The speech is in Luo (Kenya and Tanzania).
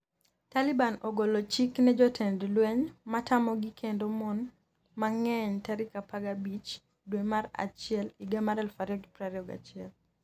Taliban ogolo chik ne jotend lweny matamogi kendo mon mang'eny tarik 15 dwe mar achiel higa mar 2021